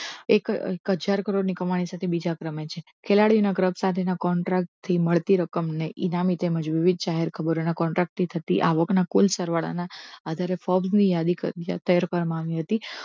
એક હજાર કરોડની કમાણી સાથે બીજા ક્રમે છે ખેલાડીના cup સાથેના contract થી મળતી રકમને ઇનામી તેમજ વિવિધ જાહેર ખબરોના contract થી થતી આવકના કુલ સરવાળાના આધારે ફોક્સ ની યાદી તૈયાર કરવામાં આવી હતી